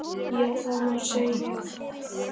Já það má segja það.